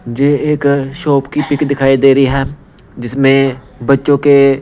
ये एक शॉप की पिक दिखाई दे रही है जिसमें बच्चों के--